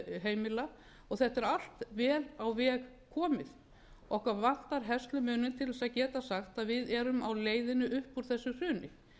heimila og þetta er allt vel á veg komið okkur vantar herslumuninn til þess að geta sagt að við erum á leiðinni upp úr þessu hruni